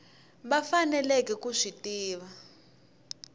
va faneleke ku swi tiva